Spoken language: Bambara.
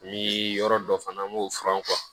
Ni yɔrɔ dɔ fana n b'o furan